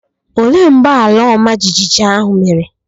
Olee mgbe ala ọma jijiji ahụ mere